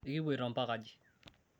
ekipuoito mpaka aji?